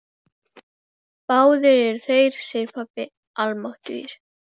Báðir eru þeir, segir pabbi, almáttugir.